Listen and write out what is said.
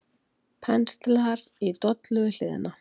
Penslar í dollu við hliðina.